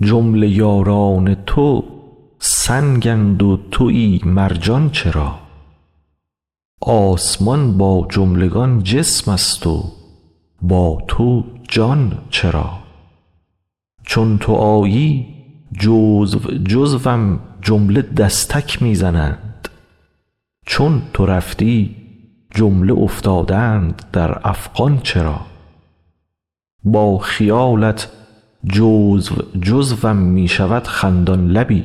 جمله یاران تو سنگند و توی مرجان چرا آسمان با جملگان جسمست و با تو جان چرا چون تو آیی جزو جزوم جمله دستک می زنند چون تو رفتی جمله افتادند در افغان چرا با خیالت جزو جزوم می شود خندان لبی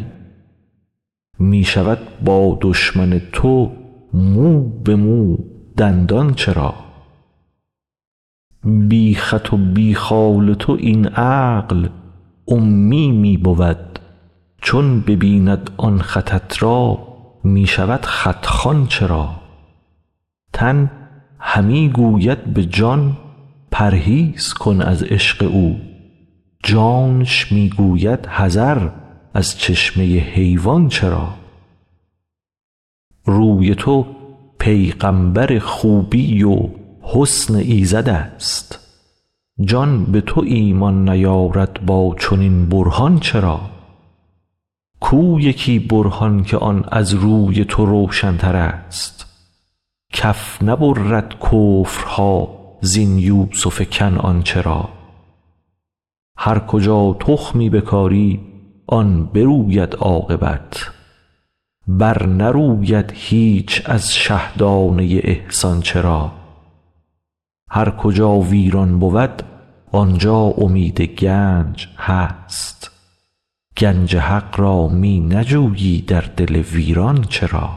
می شود با دشمن تو مو به مو دندان چرا بی خط و بی خال تو این عقل امی می بود چون ببیند آن خطت را می شود خط خوان چرا تن همی گوید به جان پرهیز کن از عشق او جانش می گوید حذر از چشمه حیوان چرا روی تو پیغامبر خوبی و حسن ایزدست جان به تو ایمان نیارد با چنین برهان چرا کو یکی برهان که آن از روی تو روشنترست کف نبرد کفرها زین یوسف کنعان چرا هر کجا تخمی بکاری آن بروید عاقبت برنروید هیچ از شه دانه ی احسان چرا هر کجا ویران بود آن جا امید گنج هست گنج حق را می نجویی در دل ویران چرا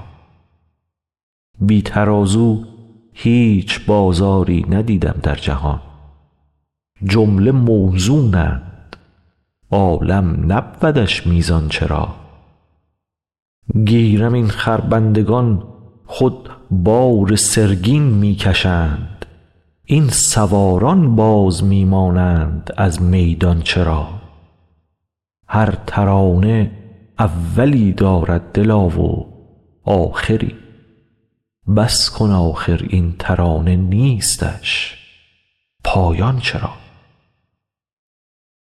بی ترازو هیچ بازاری ندیدم در جهان جمله موزونند عالم نبودش میزان چرا گیرم این خربندگان خود بار سرگین می کشند این سواران باز می مانند از میدان چرا هر ترانه اولی دارد دلا و آخری بس کن آخر این ترانه نیستش پایان چرا